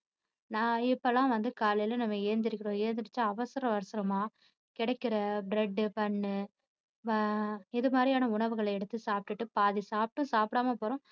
நான் இப்போயெல்லாம் வந்து காலைல நம்ம எழுந்திரிக்கிறோம் எழுந்திருச்சு அவசர அவசரமா கிடைக்கிற bread, bun ஆஹ் இது மாதிரியான உணவுகள எடுத்து சாப்பிட்டுட்டு பாதி சாப்பிட்டும் சாப்பிடாம போறோம்.